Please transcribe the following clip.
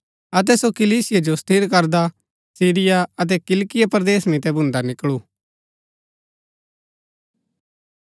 अतै सो कलीसिया जो स्थिर करदा सीरिया अतै किलिकिया परदेस मितै भून्दा निकळू